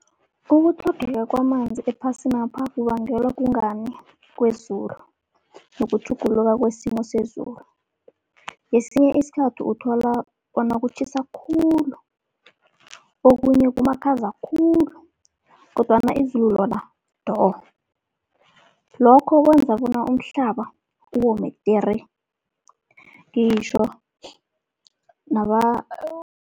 Ukutlhogeka kwamanzi ephasinapha kubangelwa kungani kwezulu nokutjhuguluka kwesimo sezulu. Ngesinye isikhathi uthola bona kutjhisa khulu, okunye kumakhaza khulu kodwana izulu lona do. Lokho kwenza bona umhlaba wome tere ngitjho